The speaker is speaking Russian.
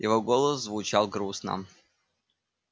его голос звучал грустно